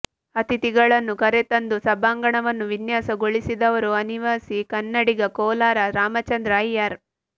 ಅತಿಥಿಗಳನ್ನು ಕರೆತಂದು ಸಭಾಂಗಣವನ್ನು ವಿನ್ಯಾಸ ಗೊಳಿಸಿದವರು ಅನಿವಾಸಿ ಕನ್ನಡಿಗ ಕೋಲಾರ ರಾಮಚಂದ್ರ ಅಯ್ಯರ್